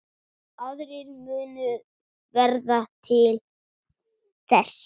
Aðrir munu verða til þess.